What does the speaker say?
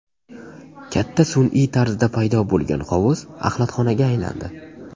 Katta sun’iy tarzda paydo bo‘lgan hovuz axlatxonaga aylandi.